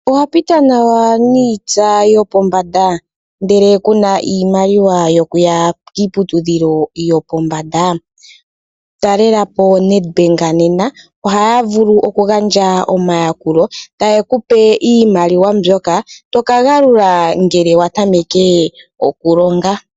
Owapita nawa niitsa yopombanda ndele kuna iimaliwa yokuya kiiputudhilo yopombanda? Talelapo Nedbank nena ohaya vulu okugandja omayakulo tayekupe iimaliwa mbyoka toka galula ngele watameke okulonga.